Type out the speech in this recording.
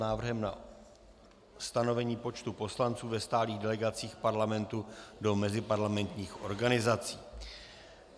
Návrh na stanovení počtu poslanců ve stálých delegacích Parlamentu do meziparlamentních organizací